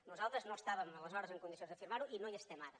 nosal tres no estàvem aleshores en condicions d’afirmar ho i no hi estem ara